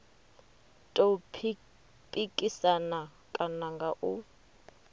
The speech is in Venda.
tou pikisana kana nga u